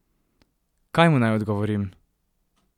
Kaj mu naj odgovorim?